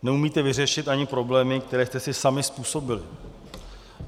Neumíte vyřešit ani problémy, které jste si sami způsobili.